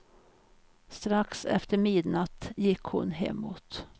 Strax efter midnatt gick hon hemåt.